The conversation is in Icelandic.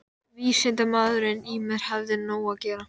Vísindamaðurinn í mér hafði nóg að gera.